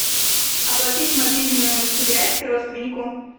оплатить мобильную связь родственнику